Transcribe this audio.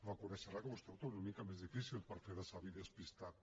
reconeixerà que vostè ho té una mica més difícil per fer de savi despistat